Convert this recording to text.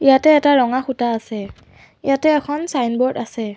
ইয়াতে এটা ৰঙা খুটা আছে ইয়াতে এখন ছাইনব'ৰ্ড আছে।